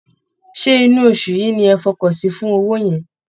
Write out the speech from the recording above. Ṣé inú oṣù yìí ni ẹ̀ fọkàn sí fún owó yẹn?